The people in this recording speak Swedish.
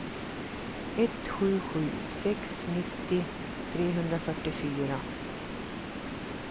ett sju sju sex nittio trehundrafyrtiofyra